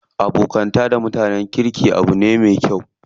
Abokanta da mutanen kirki abu ne me kyau.